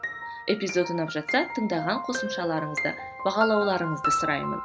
эпизод ұнап жатса тыңдаған қосымшаларыңызды бағалауларыңызды сұраймын